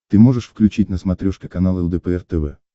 ты можешь включить на смотрешке канал лдпр тв